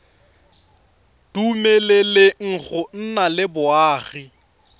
dumeleleng go nna le boagi